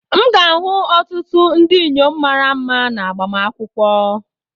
M ga-ahụ ọtụtụ ndị inyom mara mma na agbamakwụkwọ.